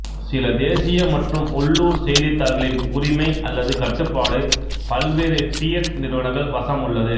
சில தேசிய மற்றும் உள்ளூர் செய்தித்தாள்களின் உரிமை அல்லது கட்டுப்பாடு பல்வேறு ஃபியட் நிறுவனங்கள் வசம் உள்ளது